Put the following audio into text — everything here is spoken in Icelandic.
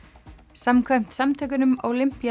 samkvæmt samtökunum